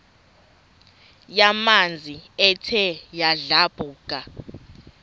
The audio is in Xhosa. yamanzi ethe yadlabhuka